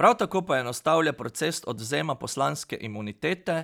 Prav tako poenostavlja proces odvzema poslanske imunitete,